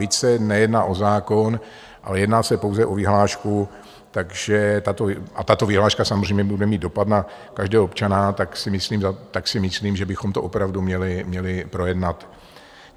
Byť se nejedná o zákon, ale jedná se pouze o vyhlášku, a tato vyhláška samozřejmě bude mít dopad na každého občana, tak si myslím, že bychom to opravdu měli projednat.